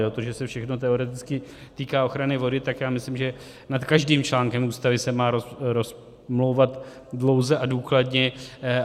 To, že se to všechno teoreticky týká ochrany vody, tak já myslím, že nad každým článkem Ústavy se má rozmlouvat dlouze a důkladně.